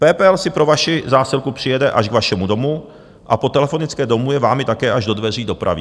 PPL si pro vaši zásilku přijede až k vašemu domu a po telefonické domluvě vám ji také až do dveří dopraví.